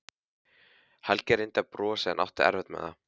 Helgi reyndi að brosa en átti erfitt með það.